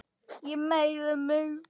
Ég meiði mig.